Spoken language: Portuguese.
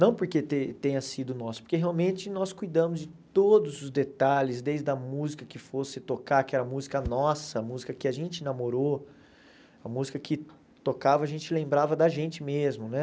Não porque te tenha sido o nosso, porque realmente nós cuidamos de todos os detalhes, desde a música que fosse tocar, que era a música nossa, a música que a gente namorou, a música que tocava, a gente lembrava da gente mesmo, né?